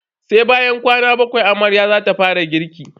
Sai bayan kwana bakwai amarya zata fara girki.